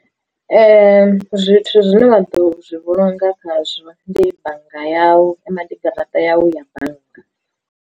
Zwithu zwine wa ḓo zwi vhulunga khazwo ndi bannga yau kana ndi garaṱa yau ya bannga.